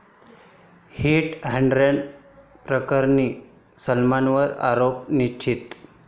hit and run प्रकरणी सलमानवर आरोप निश्चित